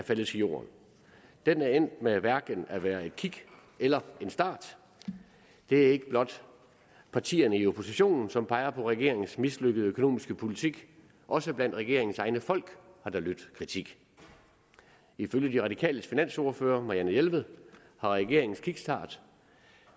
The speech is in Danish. faldet til jorden den er endt med hverken at være et kick eller en start det er ikke blot partierne i oppositionen som peger på regeringens mislykkede økonomiske politik også blandt regeringens egne folk har der lydt kritik ifølge de radikales finansordfører fru marianne jelved har regeringens kickstart